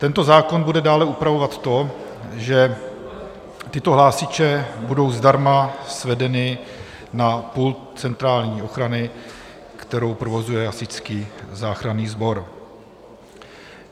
Tento zákon bude dále upravovat to, že tyto hlásiče budou zdarma svedeny na pult centrální ochrany, kterou provozuje Hasičský záchranný sbor.